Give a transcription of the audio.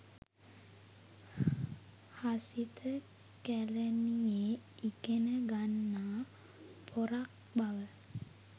හසිත කැලනියේ ඉගෙන ගන්නා පොරක් බව